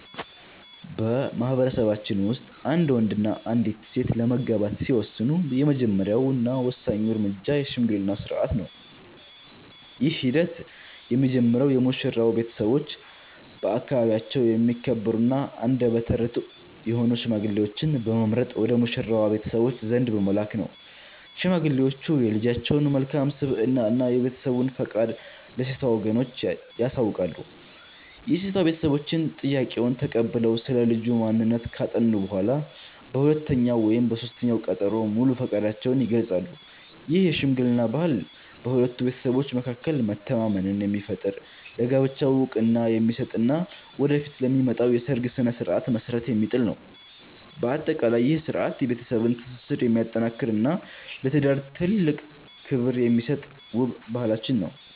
በማኅበረሰባችን ውስጥ አንድ ወንድና አንዲት ሴት ለመጋባት ሲወስኑ፣ የመጀመሪያውና ወሳኙ እርምጃ የሽምግልና ሥርዓት ነው። ይህ ሂደት የሚጀምረው የሙሽራው ቤተሰቦች በአካባቢያቸው የሚከበሩና አንደበተ ርትዑ የሆኑ ሽማግሌዎችን በመምረጥ ወደ ሙሽራዋ ቤተሰቦች ዘንድ በመላክ ነው። ሽማግሌዎቹ የልጃቸውን መልካም ስብዕና እና የቤተሰቡን ፈቃድ ለሴቷ ወገኖች ያሳውቃሉ። የሴቷ ቤተሰቦችም ጥያቄውን ተቀብለው ስለ ልጁ ማንነት ካጠኑ በኋላ፣ በሁለተኛው ወይም በሦስተኛው ቀጠሮ ሙሉ ፈቃዳቸውን ይገልጻሉ። ይህ የሽምግልና ባህል በሁለቱ ቤተሰቦች መካከል መተማመንን የሚፈጥር፣ ለጋብቻው ዕውቅና የሚሰጥ እና ወደፊት ለሚመጣው የሰርግ ሥነ ሥርዓት መሠረት የሚጥል ነው። በአጠቃላይ፣ ይህ ሥርዓት የቤተሰብን ትስስር የሚያጠናክርና ለትዳር ትልቅ ክብር የሚሰጥ ውብ ባህላችን ነው።